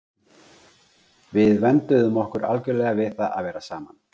Við vönduðum okkur algjörlega við það að vera saman.